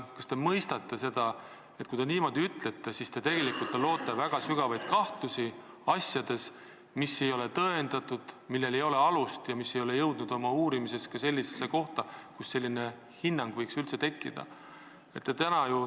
Kas te mõistate, et kui te niimoodi ütlete, siis te tegelikult loote väga sügavaid kahtlusi asjades, mis ei ole tõendatud, millel ei ole alust ja mille uurimine ei ole jõudnud ka sellisesse kohta, kus selline hinnang võiks üldse tekkida?